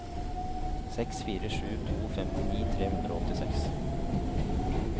seks fire sju to femtini tre hundre og åttiseks